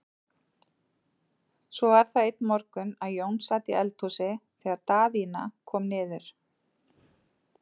Svo var það einn morgun að Jón sat í eldhúsi þegar Daðína kom niður.